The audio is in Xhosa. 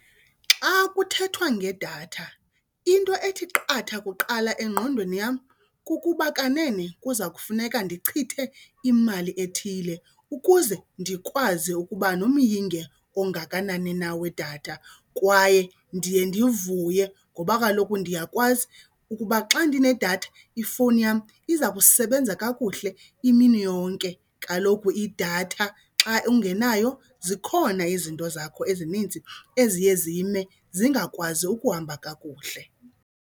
Xa kuthethwa ngedatha into ethi qatha kuqala engqondweni yam kukuba kanene kuza kufuneka ndichithe imali ethile ukuze ndikwazi ukuba nomyinge ongakanani na wedatha kwaye ndiye ndivuye ngoba kaloku ndiyakwazi ukuba xa ndinedatha ifowuni yam iza kusebenza kakuhle imini yonke. Kaloku idatha xa ungenayo zikhona izinto zakho ezinintsi eziye zime, zingakwazi ukuhamba kakuhle.